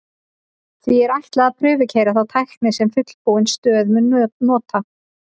því er ætlað að prufukeyra þá tækni sem fullbúin stöð mun nota